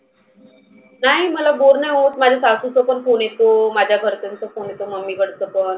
नाही मला बोर नाही होतं माझे सासुचा पण phone येतो. माझ्या घरच्यांचा phone येतो mummy कडचा पण.